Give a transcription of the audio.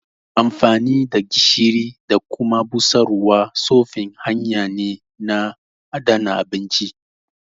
Amfani da gishiri da kuma busarwa tsofin hanya ne na adana abinci